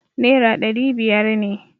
Naira ɗari biyar ne.